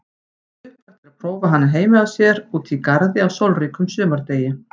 Upplagt er prófa hana heima hjá sér úti í garði á sólríkum sumardegi.